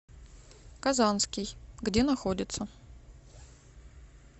казанский где находится